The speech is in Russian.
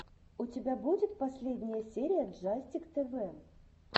у тебя будет последняя серия джастик тэвэ